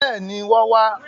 Bẹ́ẹ̀ni, wọ́n wá